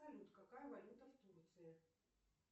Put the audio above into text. салют какая валюта в турции